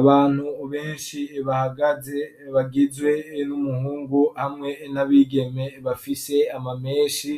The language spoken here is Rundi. Abantu benshi bahagaze bagizwe n'umuhungu hamwe n'abigeme bafise amamenshi,